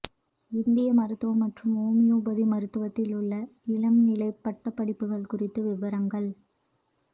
இந்திய மருத்துவம் மற்றும் ஓமியோபதி மருத்துவத்தில் உள்ள இளம்நிலைப் பட்டப்படிப்புகள் குறித்த விபரங்கள்